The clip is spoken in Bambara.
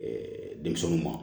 denmisɛnninw ma